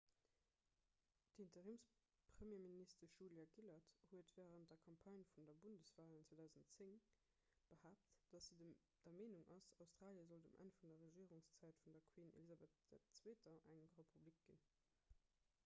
d'interimspremierministesch julia gillard huet wärend der campagne vun de bundeswalen 2010 behaapt datt si der meenung ass australie sollt um enn vun der regierungszäit vun der queen elizabeth ii eng republik ginn